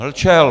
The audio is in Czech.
Mlčel.